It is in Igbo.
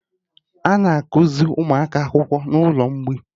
Ana akuzi ụmụaka akwụkwọ n'ụlọ mgbei